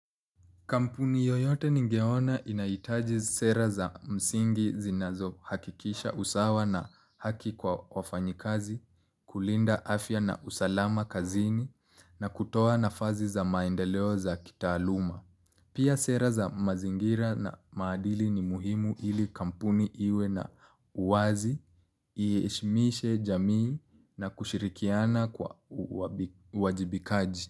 Kampuni yoyote ningeona inaitaji sera za msingi zinazohakikisha usawa na haki kwa wafanyikazi, kulinda afya na usalama kazini na kutoa nafasi za maendeleo za kitaaluma. Pia sera za mazingira na maadili ni muhimu ili kampuni iwe na uwazi. Iheshimishe jamii na kushirikiana kwa wajibikaji.